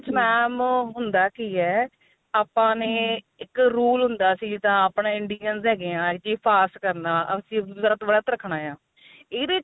mam ਹੁੰਦਾ ਕੀ ਏ ਆਪਾਂ ਨੇ hm ਇੱਕ rule ਹੁੰਦਾ ਸੀ ਤਾਂ ਆਪਣੇ Indians ਹੈਗੇ ਆ ਕੀ fast ਕਰਨਾ ਅਸੀਂ ਵਰਤ ਰੱਖਣਾ ਆ ਇਹਦੇ ਚ